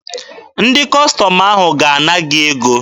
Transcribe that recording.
Ndị Kọstọm ahụ ga-ana gị ego